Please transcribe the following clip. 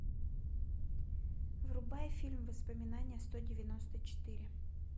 врубай фильм воспоминания сто девяносто четыре